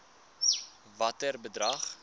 watter bedrag